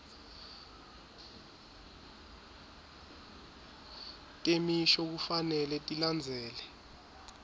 temisho kufanele tilandzele